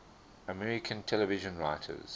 american television writers